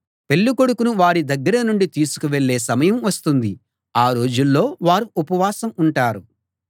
పెళ్ళికొడుకును వారి దగ్గర నుండి తీసుకు వెళ్ళే సమయం వస్తుంది ఆ రోజుల్లో వారు ఉపవాసం ఉంటారు